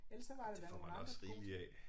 Ellers så var der da nogle andre gode ting